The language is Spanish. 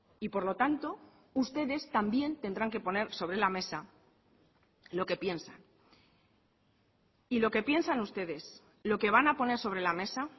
y por lo tanto ustedes también tendrán que poner sobre la mesa lo que piensan y lo que piensan ustedes lo que van a poner sobre la mesa